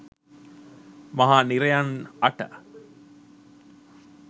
මහා නිරයන් අට